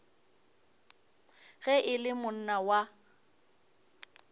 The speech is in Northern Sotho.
ge e le monna wa